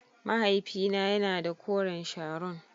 Mahaifina yana da koren Sharon.